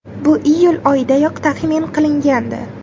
Bu iyul oyidayoq taxmin qilingandi.